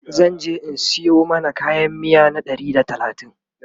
zanje in Sayo mana kayan miya na Ɗari da talatin